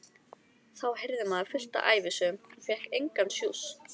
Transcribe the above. Þá heyrði maður fullt af ævisögum en fékk engan sjúss.